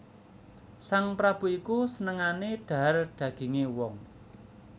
Sang prabu iku senengané dhahar dagingé wong